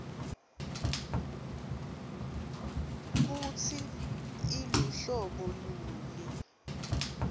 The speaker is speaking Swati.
kutsi iluhlobo luni